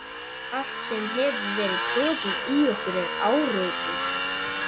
Allt sem hefur verið troðið í okkur er áróður.